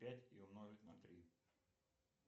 пять и умножить на три